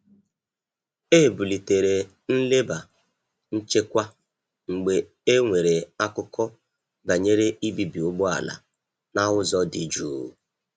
E bulitere nleba nchekwa mgbe e nwere akụkọ banyere ibibi ụgbọala na ụzọ dị jụụ.